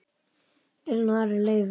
Elín og Ari Leifur.